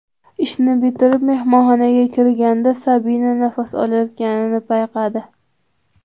Ishni bitirib, mehmonxonaga kirganda Sabina nafas olayotganini payqadi.